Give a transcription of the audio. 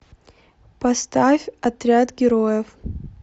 поставь отряд героев